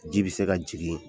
Ji bi se ka jigin